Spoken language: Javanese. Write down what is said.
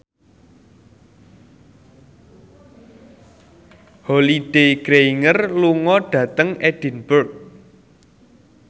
Holliday Grainger lunga dhateng Edinburgh